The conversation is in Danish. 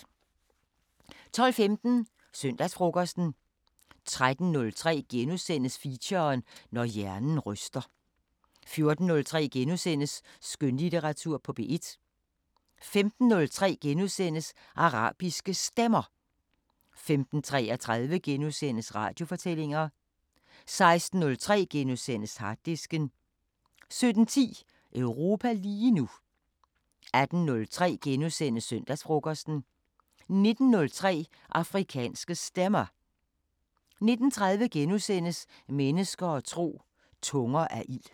12:15: Søndagsfrokosten 13:03: Feature: Når hjernen ryster * 14:03: Skønlitteratur på P1 * 15:03: Arabiske Stemmer * 15:33: Radiofortællinger * 16:03: Harddisken * 17:10: Europa lige nu 18:03: Søndagsfrokosten * 19:03: Afrikanske Stemmer 19:30: Mennesker og tro: Tunger af ild *